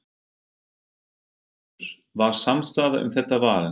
Lillý Valgerður: Var samstaða um þetta val?